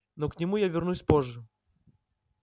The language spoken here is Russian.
но к нему я вернусь позже